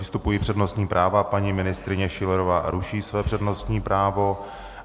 Vystupují přednostní práva, paní ministryně Schillerová ruší své přednostní právo.